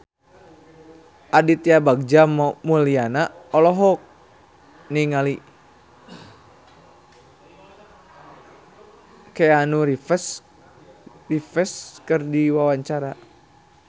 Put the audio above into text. Aditya Bagja Mulyana olohok ningali Keanu Reeves keur diwawancara